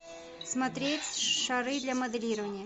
смотреть шары для моделирования